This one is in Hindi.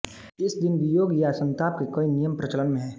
इस दिन वियोग या संताप के कई नियम प्रचलन में हैं